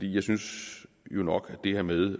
jeg synes nok at det her med